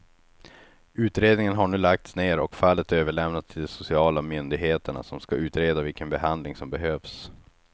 Utredningen har nu lagts ner och fallet överlämnats till de sociala myndigheterna som ska utreda vilken behandling som behövs.